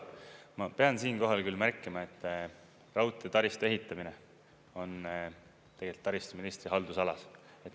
Ma pean siinkohal küll märkima, et raudteetaristu ehitamine on tegelikult taristuministri haldusalas.